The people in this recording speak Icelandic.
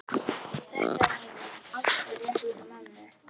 Þetta er auðvitað alveg rétt hjá mömmu.